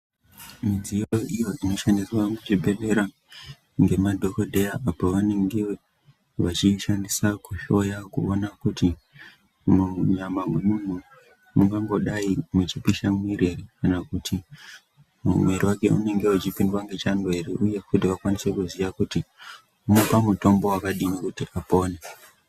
Midziyo iyo inoshandiswa muchibhedhlera ngemadhokodheya apo vanenge vachiishandisa kuhloya kuona kuti munyama memuntu mungangodai muchipisha muwiri here kana kuti mumuwiri wake unenge uchipindwa nechando here uye kuti vakwanise kuziva kuti vopa mutombo wakadii kuti apone.